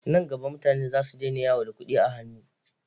Nan gaba mutane za su daina yawo da kuɗi a hannu.